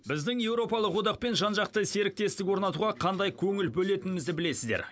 біздің еуропалық одақпен жан жақты серіктестік орнатуға қандай көңіл бөлетінімізді білесіздер